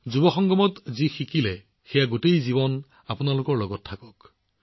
যুৱ সংগমত আপোনালোকে যি শিকিছে সেয়া আপোনালোকৰ বাকী জীৱনৰ বাবে আপোনালোকৰ লগত থাকক